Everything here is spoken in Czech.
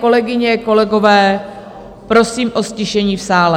Kolegyně, kolegové, prosím o ztišení v sále.